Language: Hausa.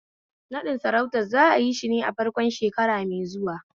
Naɗin sarautar za'ayi shine a farkon shekara mai zuwa